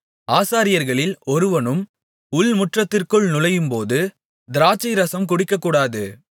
ஆசாரியர்களில் ஒருவனும் உள்முற்றத்திற்குள் நுழையும்போது திராட்சைரசம் குடிக்கக்கூடாது